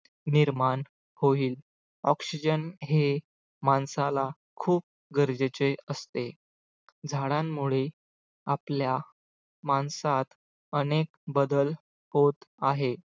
निर्माण होईल oxygen हे माणसाला खूप गरजेचे असते. झाडांमुळे आपल्या माणसात अनेक बदल होत आहे.